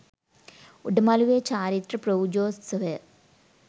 උඩ මළුවේ චාරිත්‍ර පූජෝත්සවය